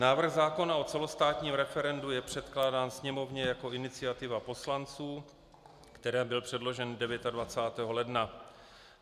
Návrh zákona o celostátním referendu je předkládán Sněmovně jako iniciativa poslanců, které byl předložen 29. ledna.